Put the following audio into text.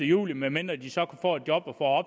juli medmindre de så får et job og